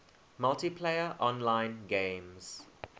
multiplayer online games